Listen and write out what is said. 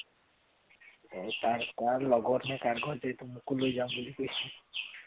তাৰ লগৰ নে কাৰ ঘৰ এইটো মোকো লৈ যাম বুলি কৈছে